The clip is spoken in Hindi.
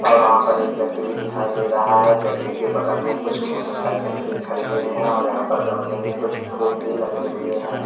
और वहां पर एक व्यक्ति भी दिखाई दे रहा है व्यक्ति के बगल में कुछ मोटरसाइकिल भी खड़ी हुई हैं और यहां पर गमले में कुछ फूल भी लगे हुए हैं।